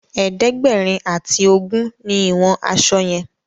ẹ̀ẹ́dẹ̀gbẹ̀rin ati ogún ní ìwòn aṣọ yen.